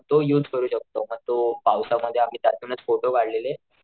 तो युज करू शकतो म तो पावसा मध्ये आम्ही त्यातूनच फोटो काढलेले.